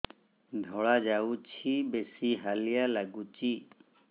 ଧଳା ଯାଉଛି ବେଶି ହାଲିଆ ଲାଗୁଚି